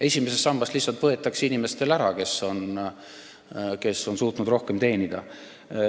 Esimesest sambast lihtsalt võetakse raha ära inimestelt, kes on suutnud rohkem teenida.